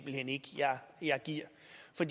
at